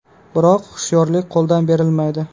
Biroq hushyorlik qo‘ldan berilmaydi.